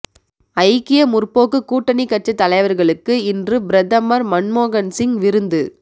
ஐக்கிய முற்போக்கு கூட்டணிக் கட்சித் தலைவர்களுக்கு இன்று பிரதமர் மன்மோகன்சிங் விருந்து